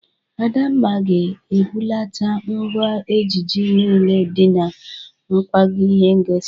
Adamma ga-ebulata ngwa ejije niile dị na nkwago ihe ngosi